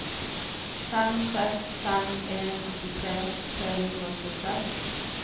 fem seks fem en åttitre tre hundre og tjueseks